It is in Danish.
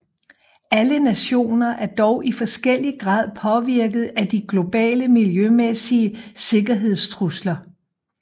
Alle nationer er dog i forskellig grad påvirket af de globale miljømæssige sikkerhedstrusler